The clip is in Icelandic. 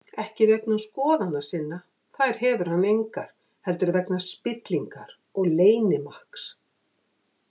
Ekki vegna skoðana sinna, þær hefur hann engar, heldur vegna spillingar og leynimakks.